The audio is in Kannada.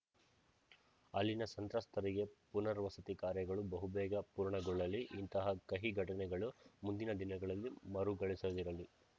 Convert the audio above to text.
ಅಲ್ಲಿನ ಸಂತ್ರಸ್ತರಿಗೆ ಪುನರ್ವಸತಿ ಕಾರ್ಯಗಳು ಬಹುಬೇಗ ಪೂರ್ಣಗೊಳ್ಳಲಿ ಇಂತಹ ಕಹಿ ಘಟನೆಗಳು ಮುಂದಿನ ದಿನಗಳಲ್ಲಿ ಮರುಗಳಿಸದಿರಲಿ